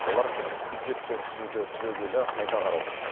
олар бюджетті түзуді түбегейлі қайта қарау